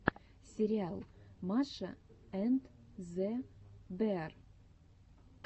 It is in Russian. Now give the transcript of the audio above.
сериал маша энд зе беар